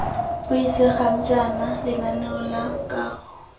buisegang jaana lenaneo la kago